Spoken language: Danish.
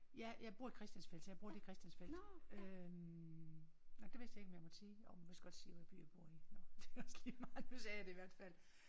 Ja jeg bor i Christiansfeld så jeg bruger det i Christiansfeld. Øh nåh det vidste jeg ikke om jeg måtte sige jo jeg måtte vidst godt sige hvad by jeg bor i nåh det også ligemeget nu sagde jeg det i hvert fald